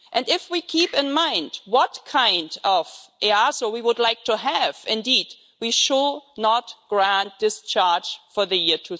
If we keep in mind what kind of EASO we would like to have, indeed we should not grant discharge for the year